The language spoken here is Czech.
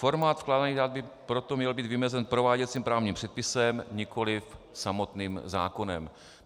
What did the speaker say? Formát vkládaných dat by proto měl být vymezen prováděcím právním předpisem, nikoli samotným zákonem.